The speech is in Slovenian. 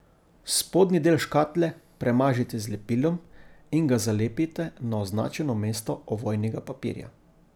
Spodnji del škatle premažite z lepilom in ga zalepite na označeno mesto ovojnega papirja.